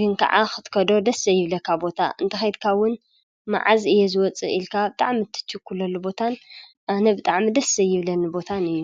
ግን ከዓ ኽትከዶ ደስ ኣይብለካ ቦታ እንተ ኸይትካውን መዓዝ እየ ዝወፅእ ኢልካኣብ ጣዕሚ እትችኲለሉ ቦታን ኣነብጣዕሚ ደሥ ይብለኒ ቦታን እዩ።